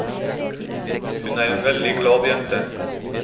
Hun er en veldig glad jente.